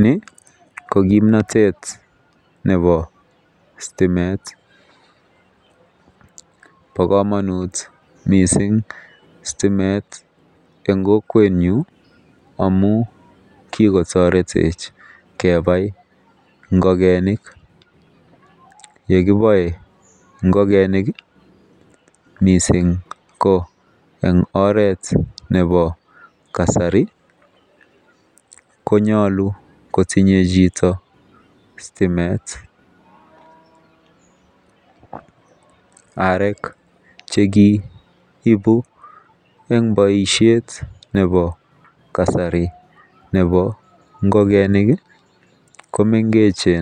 Nii ko kimnotet nebo stimet bo komonut missing stimet en kokwenyuny amun kikotoretech kebai ingokenik, yekiboe ingokenik kii missing ko en oret nebo kasari konyolu kotinye chito stimet, arek chekiibu en boishet nebo kasari nebo ingokenik kii komengeche.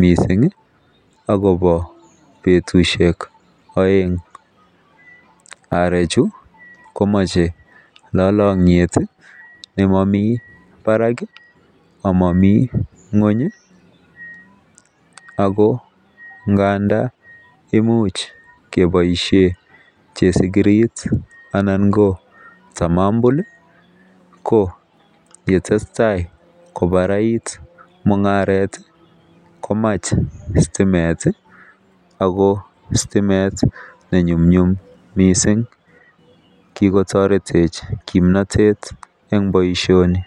Missingi akobo betushek oeng. a Arechu komoche lolokyet tii nemomii barak omomii ngwonyi ako ngandan imuch keboishen chesikirit anan ko tamombul ko ketesetai kobarait mungaret komach stimet tii ako stimet nenyumnyum missing kikotoretech kimnotet en boishoni.